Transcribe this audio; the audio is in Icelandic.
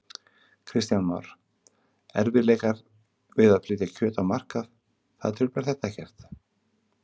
Kristján Már: Erfiðleikar við að flytja kjöt á markað, það truflar þetta ekkert?